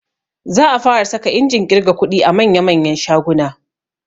Za a fara saka injin ƙirga kuɗi a manya manyan shaguna